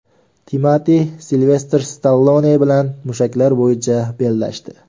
Timati Silvestr Stallone bilan mushaklar bo‘yicha bellashdi.